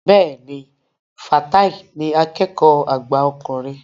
Bẹ́ẹ̀ni, Fatai ni akẹ́kọ̀ọ́ àgbà ọkùnrin